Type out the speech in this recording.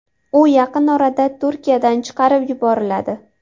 U yaqin orada Turkiyadan chiqarib yuboriladi.